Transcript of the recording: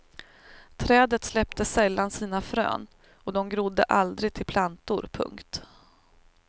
Trädet släppte sällan sina frön och de grodde aldrig till plantor. punkt